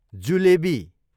jalebi